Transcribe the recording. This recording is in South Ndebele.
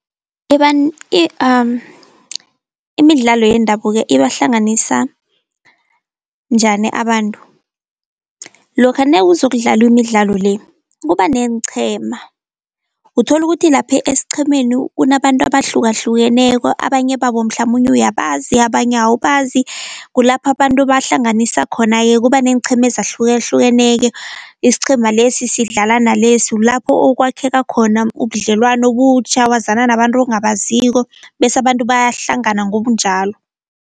Imidlalo yendabuko ibahlanganisa njani abantu? Lokha nezokudlalwa imidlalo le kuba neenqhema uthola ukuthi lapha esiqhemeni kunabantu abahlukahlukeneko abanye babo mhlamunye uyabazi abanye awubazi. Kulapha abantu bahlanganisa khona-ke kuba neenqhema ezahlukahlukeneko, isiqhema lesi sidlala nalesi kulapho okwakheka khona ubudlelwano obutjha, wazana nabantu ongabaziko, bese abantu bayahlangana ngobunjalo.